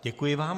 Děkuji vám.